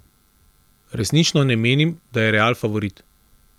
Resnično ne menim, da je Real favorit.